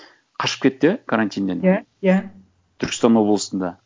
қашып кетті иә карантиннен иә иә түркістан облысында